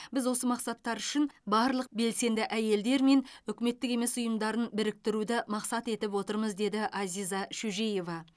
біз осы мақсаттар үшін барлық белсенді әйелдер мен үкіметтік емес ұйымдардың біріктіруді мақсат етіп отырмыз деді азиза шөжеева